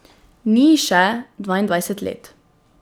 Ni ji še dvaindvajset let.